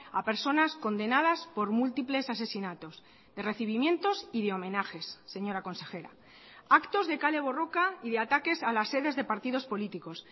a personas condenadas por múltiples asesinatos de recibimientos y de homenajes señora consejera actos de kale borroka y de ataques a las sedes de partidos políticos